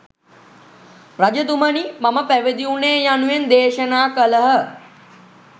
රජතුමනි මම පැවිදි වුනේ යනුවෙන් දේශනා කළහ.